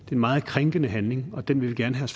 en meget krænkende handling og den vil vi gerne have